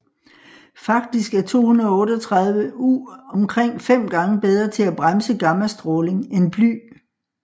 Faktisk er 238U omkring fem gange bedre til at bremse gammastråling end bly